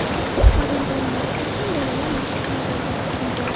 Farzandlaringiz uchun ham maxsus bolalar maydonchasi qurilgan.